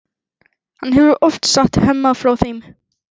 Hann hefur oft sagt Hemma frá þeim.